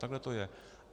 Takhle to je.